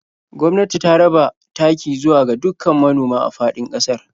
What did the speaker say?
Gwamnati ta raba taki zuwa ga dukkan manoma a faɗin ƙasar.